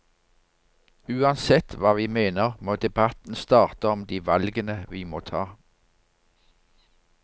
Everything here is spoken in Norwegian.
Uansett hva vi mener må debatten starte om de valgene vi må ta.